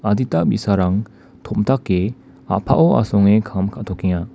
adita bi·sarang tomdake a·pao asonge kam ka·tokenga.